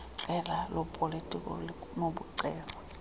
qela lopolitiko linokucelwa